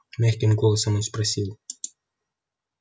мягким голосом он спросил